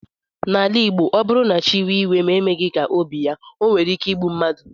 N'ala igbo ọbụrụ na chi wee iwe ma emeghi ka obi ya onwere ike igbụ mmadu.